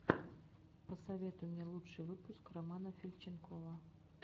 посоветуй мне лучший выпуск романа фильченкова